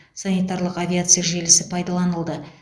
санитарлық авиация желісі пайдаланылды